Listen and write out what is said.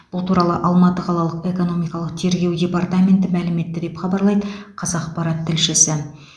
бұл туралы алматы қалалық экономикалық тергеу департаменті мәлім етті деп хабарлайды қазақпарат тілшісі